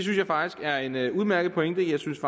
jeg faktisk er en en udmærket pointe jeg synes